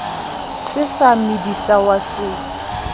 sa se medisa wa se